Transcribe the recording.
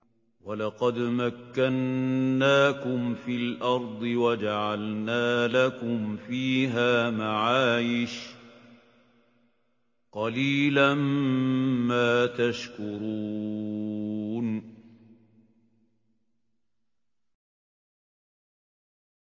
وَلَقَدْ مَكَّنَّاكُمْ فِي الْأَرْضِ وَجَعَلْنَا لَكُمْ فِيهَا مَعَايِشَ ۗ قَلِيلًا مَّا تَشْكُرُونَ